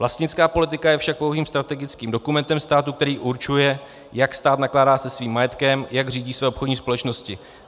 Vlastnická politika je však pouhým strategickým dokumentem státu, který určuje, jak stát nakládá se svým majetkem, jak řídí svoje obchodní společnosti.